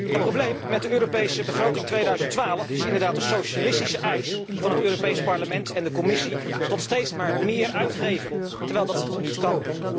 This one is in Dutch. Het probleem met de Europese begroting 2012 is inderdaad een socialistische eis van het Europees Parlement en de Commissie om steeds maar meer uit te geven, terwijl dat niet kan.